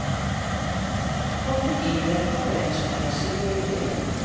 Kroppen innvirker på ens fantasi og ideer.